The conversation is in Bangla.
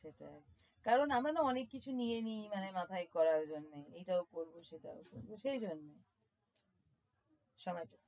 সেটায় কারণ আমরা নাহ অনেক কিছু নিয়ে নিই মানে মাথায় করার জন্য এটাও করব সেটাও শুনবো সেই জন্য